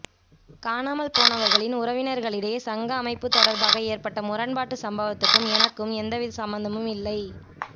காணாமல் போனவர்களின் உறவினர்களிடையே சங்க அமைப்பு தொடர்பாக ஏற்பட்ட முரண்பாட்டு சம்பவத்துக்கும் எனக்கும் எந்தவித சம்பந்தமும் இல்லை